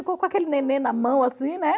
Ficou com aquele neném na mão assim, né?